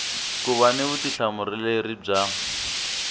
ku va ni vutihlamuleri bya